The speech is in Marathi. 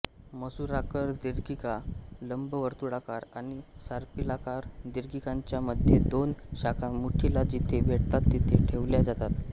मसूराकार दीर्घिका लंबवर्तुळाकार आणि सर्पिलाकार दीर्घिकांच्या मध्ये दोन शाखा मूठीला जिथे भेटतात तिथे ठेवल्या जातात